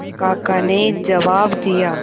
काका ने जवाब दिया